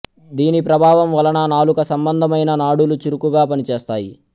దీని ప్రభావం వలన నాలుక సంబంధమైన నాడులు చురుకుగా పనిచేస్తాయి